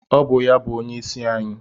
ọ bu onye-isi-ayi.